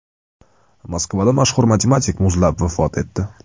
Moskvada mashhur matematik muzlab vafot etdi.